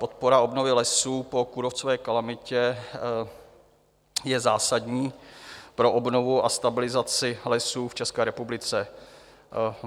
Podpora obnovy lesů po kůrovcové kalamitě je zásadní pro obnovu a stabilizaci lesů v České republice.